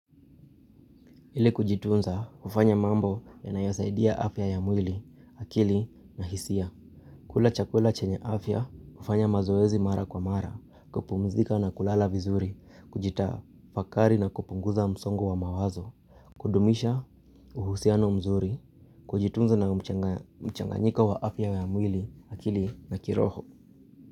Ili kujitunza ufanya mambo yanayo saidia afya ya mwili, akili na hisia. Kula chakula chenye afya ufanya mazoezi mara kwa mara, kupumzika na kulala vizuri, kujitafakari na kupunguza msongo wa mawazo. Kudumisha uhusiano mzuri, kujitunza na mchanganyiko wa afya ya mwili, akili na kiroho.